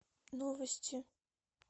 новости